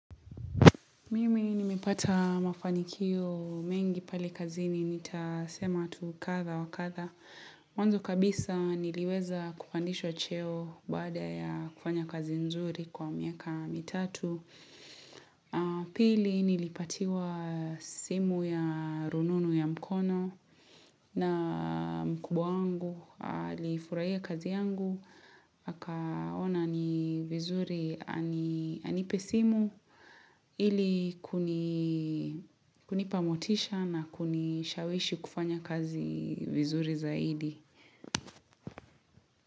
Mimi nimepata mafanikio mengi pale kazini, nitasema tu kadha wa kadha. Mwanzo kabisa niliweza kupandishwa cheo baada ya kufanya kazi nzuri kwa miaka mitatu. Pili nilipatiwa simu ya rununu ya mkono na mkubwa wangu, alifurahia kazi yangu. Akaona ni vizuri anipe simu ili kunipa motisha na kunishawishi kufanya kazi vizuri zaidi.